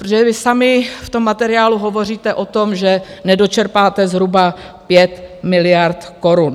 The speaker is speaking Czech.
Protože vy sami v tom materiálu hovoříte o tom, že nedočerpáte zhruba 5 miliard korun.